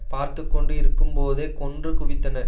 பார்த்து கொண்டு இருக்கும்போதே கொன்று குவித்தனர்